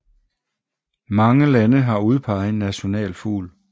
Mange lande har udpeget en nationalfugl